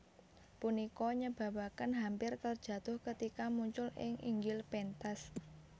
Punika nyebabaken hampir terjatuh ketika muncul ing inggil pentas